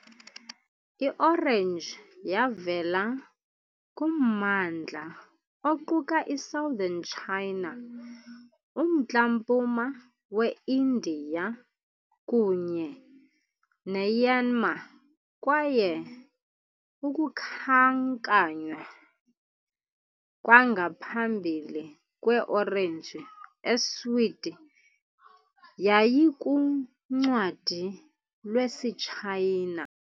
Iorenji yavela kummandla oquka i-Southern China, uMntla-mpuma we-Indiya, kunye neMyanmar, kwaye ukukhankanywa kwangaphambili kwe-orenji eswiti yayikuncwadi lwesiTshayina